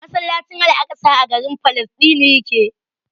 Masallacin al'aƙsa a garin Falasɗinu yake.